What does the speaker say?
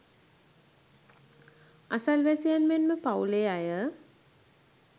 අසල්වැසියන් මෙන්ම පවුලේ අය